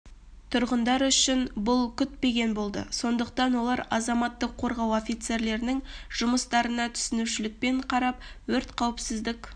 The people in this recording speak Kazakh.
тұрғындар үшін бұл күтпегендік болды сондықтан олар азаматтық қорғау офицерлерінің жұмыстарына түсінушілікпен қарап өрт қауіпсіздік